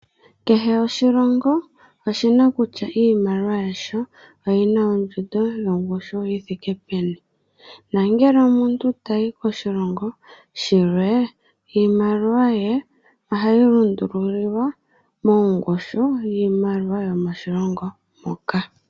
Kehe oshilongo oshi na kutya iimaliwa yasho oyi na ondjundo yongushu yi thike peni. No ngele omuntu tayi koshilongo shilwe, iimaliwa ye ohayi lundululilwa mongushu yiimaiwa yo moshilongo shoka.